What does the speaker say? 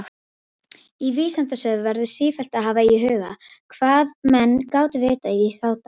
Í vísindasögu verður sífellt að hafa í huga, hvað menn gátu vitað í þá daga.